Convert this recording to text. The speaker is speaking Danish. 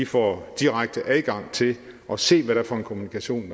får direkte adgang til at se hvad det er for en kommunikation